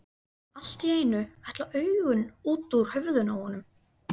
Allt í einu ætla augun út úr höfðinu á honum.